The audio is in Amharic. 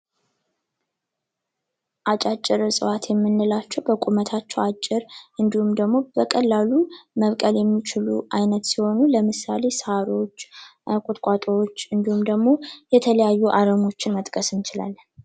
አጫጭር እጽዋት የምንላቸው በቁመታቸው አጭር እንዲሁም ደግሞ በቀላሉ መብቀል የሚችሉ ለምሳሌ ሳሮች ቁጥቋጦዎች እንዲሁም ደግሞ የተለያዩ አረቦችን መጥቀስ እንችላለን።